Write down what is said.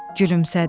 Gülümsədi.